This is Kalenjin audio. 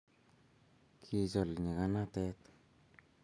kichol nyikanatet